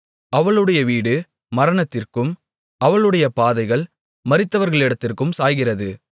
அவளுடைய வீடு மரணத்திற்கும் அவளுடைய பாதைகள் மரித்தவர்களிடத்திற்கும் சாய்கிறது